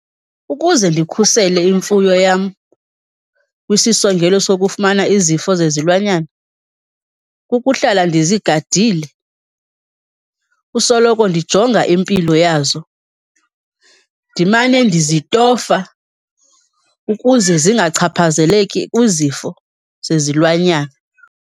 Ukuze ndikhusele imfuyo yam kwisisongelo sokufumana izifo zezilwanyana, kukuhlala ndizigadile, kusoloko ndijonga impilo yazo, ndimane ndizitofa ukuze zingachaphazeleki kwizifo zezilwanyana.